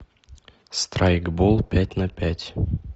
страйкбол пять на пять